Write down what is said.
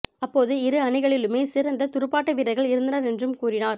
அப்போது இரு அணிகளிலுமே சிறந்த துடுப்பாட்ட வீரர்கள் இருந்தனர் என்றும் கூறினார்